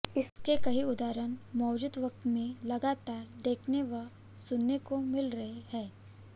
इसके कई उदहारण मौजूदा वक़्त में लगातार देखने व सुनने को मिल रहे हैं